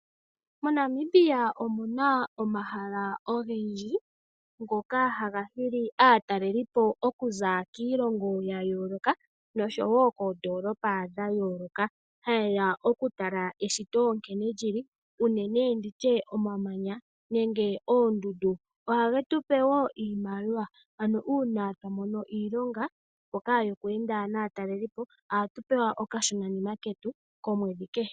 MoNamibia omuna omahala ogendji, ngoka haga hili aatalelipo okuza kiilongo ya yooloka, noshowo koondoolopa dha yooloka. Ha yeya okutala eshito nkene lili, unene nditye omamanya, nenge oondundu. Oha ge tupe wo iimaliwa, ano uuna twa mono iilonga mbyoka yoku enda naatalelipo, ohatu pewa okashona ketu komwedhi kehe.